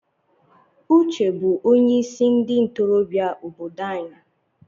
Uche bụ onye isi ndị ntorobịa obodo anyị.